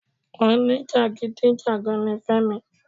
Oní jàgídíjàgan ni Fẹ́mi.